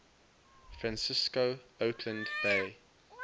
francisco oakland bay